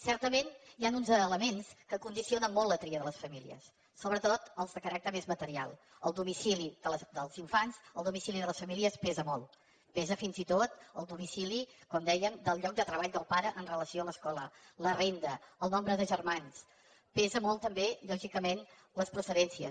certament hi ha uns elements que condicionen molt la tria de les famílies sobretot els de caràcter més material el domicili dels infants el domicili de les famílies pesa molt pesa fins i tot el domicili com dèiem del lloc de treball del pare amb relació a l’escola la renda el nombre de germans pesen molt també lògicament les procedències